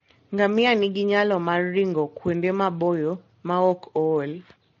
Ngamia nigi nyalo mar ringo kuonde maboyo maok ool.